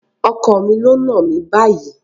Ọkọ mi ló náà mi báyìí.